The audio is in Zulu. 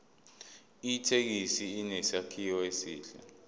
ithekisi inesakhiwo esihle